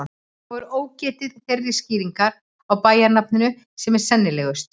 Þá er ógetið þeirrar skýringar á bæjarnafninu sem er sennilegust.